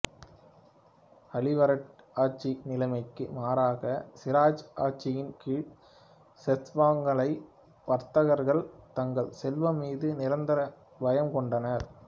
அளிவர்டி ஆட்சி நிலைமைக்கு மாறாக சிராஜ் ஆட்சியின் கீழ் செத்ஸ்வங்காள வர்த்தகர்கள் தங்கள் செல்வம் மீது நிரந்தர பயம் கொண்டனர்